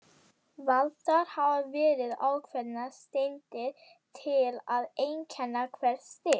Valdar hafa verið ákveðnar steindir til að einkenna hvert stig.